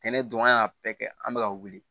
Tɛnɛ dɔn an y'a bɛɛ kɛ an bɛ ka wuli